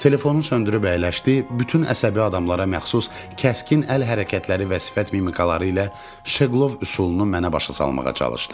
Telefonu söndürüb əyləşdi, bütün əsəbi adamlara məxsus kəskin əl hərəkətləri və sifət mimikaları ilə Şeqlov üsulunu mənə başa salmağa çalışdı.